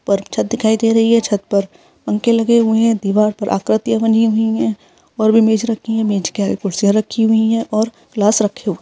ऊपर छत दिखाई दे रही है छत पर पंखे लगे हुए है दिवार पर आकृतियाँ बनी हुई है और भी मेज रखी है मेज के आगे कुर्सियाँ रखी हुई है और गिलास रखी हुई हैं।